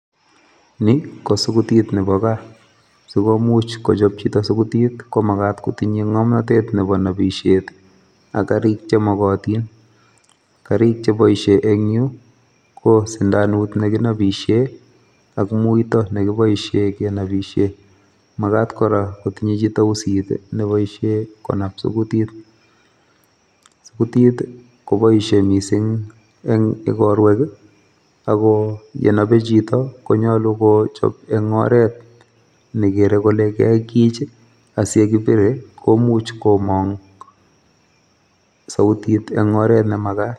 Ni kosugutiit nebo gas, sikomuch kochoob chito sugutit komagaat kotinye ngomnotet Nebo nobishiet, ak garik chekotiin. Garik cheboishie en yuh ko sindanut nekinobishien ak muito nekiboishien kenobishien. Maagat kora kotinye chito uusit neboishin konab sukutiit, suguutit koboishie missing en igorwek i,ako yenobee chito konyolu kochob en oret negeree koke kaikich asiyekibire komuch komong sugutit en oret nemagat.